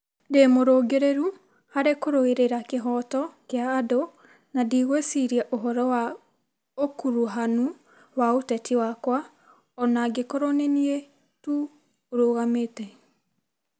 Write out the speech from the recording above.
Ndĩ mũrũngĩrĩru harĩ kũrũĩrĩra kĩhooto kĩa andũ na ndigwĩciria ũhoro wa ũkuruhanu wa ũteti wakwa o na angĩkorwo nĩ niĩ tu ũrũgamĩte.